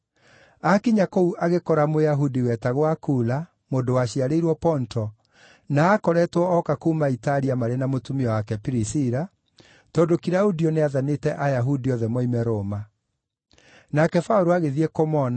Aakinya kũu agĩkora Mũyahudi wetagwo Akula, mũndũ waciarĩirwo Ponto, na aakoretwo oka kuuma Italia marĩ na mũtumia wake Pirisila, tondũ Kilaudio nĩathanĩte Ayahudi othe moime Roma. Nake Paũlũ agĩthiĩ kũmona,